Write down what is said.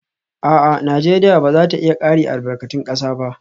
A'a, Najeriya ba za ta iya kare albarkatun kasa ba